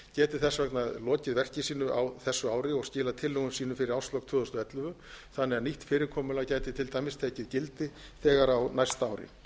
þess vegna lokið verki sínu á þessu ári og skilað tillögum sínum fyrir árslok tvö þúsund og ellefu þannig að nýtt fyrirkomulag gæti til dæmis tekið gildi þegar á næsta ári